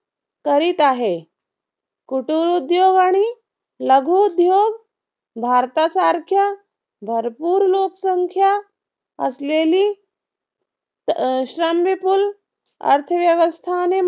करीत आहे. कुटुरउद्योग आणि लघुउद्योग भारतासारख्या भरपूर लोकसंख्या असलेली श्रमविपूल अर्थव्यवस्थाने